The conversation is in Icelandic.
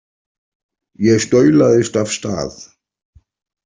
Ég staulaðist af stað.